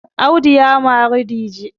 Audu ya mari dije